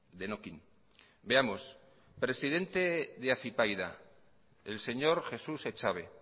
denokinn veamos presidente de afypaida el señor jesús echave